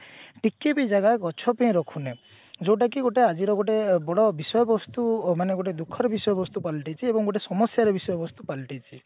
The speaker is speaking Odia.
ଟିକେ ବି ଜାଗା ଗଛ ପେଇଁ ରଖୁନେ ଯୋଉଟା କି ଗୋଟେ ଆଜିର ଗୋଟେ ବଡ ବିଷୟବସ୍ତୁ ମାନେ ଗୋଟେ ଦୁଖଃର ବିଷୟ ବସ୍ତୁ ପାଲଟିଛି ଏବଂ ଗୋଟେ ସମସ୍ୟାର ବିଷୟ ବସ୍ତୁ ପାଲଟିଛି